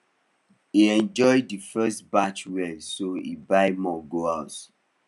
he enjoy the first batch well so he buy more go house